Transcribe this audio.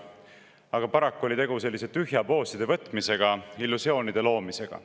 Aga paraku oli tegu selliste tühjade pooside võtmisega, illusioonide loomisega.